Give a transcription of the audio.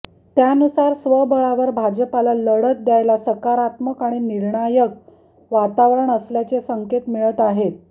त्यानुसार स्वबळावर भाजपला लढत द्यायला सकारात्मक आणि निर्णायक वातावरण असल्याचे संकेत मिळत आहेत